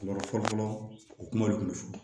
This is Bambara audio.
Yɔrɔ fɔlɔ fɔlɔ o kuma de tun bɛ fɔ